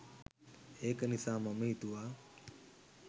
ඒක නිසා මම හිතුවා